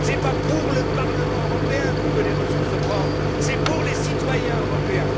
Ce n'est pas pour le Parlement européen que nous voulons les ressources propres, c'est pour les citoyens européens.